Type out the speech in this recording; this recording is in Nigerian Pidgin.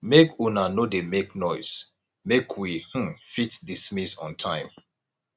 maka una no dey make noise make we um fit dismiss on time